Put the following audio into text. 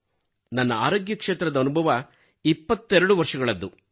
ನನ್ನ ಆರೋಗ್ಯಕ್ಷೇತ್ರದ ಅನುಭವ 22 ವರ್ಷಗಳದ್ದು